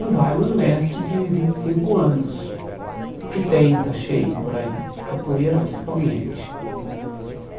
Não vale um mestre de vinte e cinco anos, que tem, está cheio por aí, de capoeira principalmente.